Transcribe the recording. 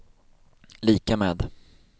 lika med